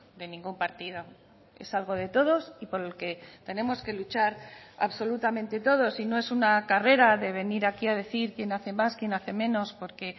de ningún partido es algo de todos y por el que tenemos que luchar absolutamente todos y no es una carrera de venir aquí a decir quién hace más quién hace menos porque